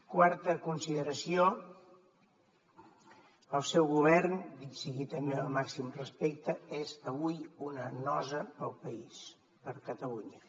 quarta consideració el seu govern dit sigui també amb el màxim respecte és avui una nosa per al país per a catalunya